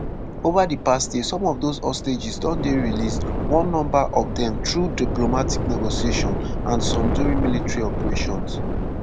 over di past year some of those hostages don dey released one number of dem through diplomatic negotiations and some during military operations.